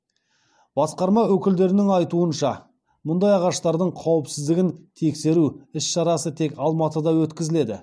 басқарма өкілдерінің айтуынша мұндай ағаштардың қауіпсіздігін тексеру іс шарасы тек алматыда өткізіледі